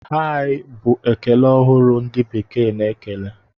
Hai! Bụ ekele ọhụrụ ndị bekee na-ekele.